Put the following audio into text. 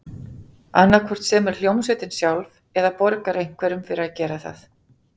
Annað hvort semur hljómsveitin sjálf, eða borgar einhverjum fyrir að gera það.